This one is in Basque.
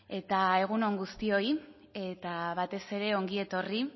eta egun on guztioi eta batez ere ongi etorri